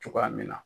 Cogoya min na